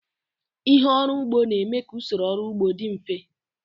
Ihe ọrụ ugbo na-eme ka usoro ọrụ ugbo dị mfe